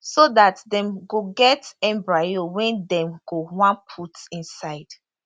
so dat dem go get embryo wey dem go wan put inside